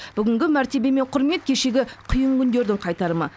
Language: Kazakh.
бүгінгі мәртебе мен құрмет кешегі қиын күндердің қайтарымы